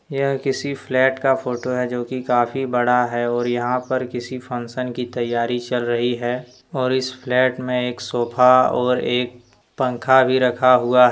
यह किसी फ्लैट का फोटो है जो की काफी बड़ा है और यहां पर किसी फंक्शन की तैयारी चल रही है और इस फ्लैट में एक सोफा और एक पंखा भी रखा हुआ--